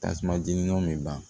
Tasuma jeniw bɛ ban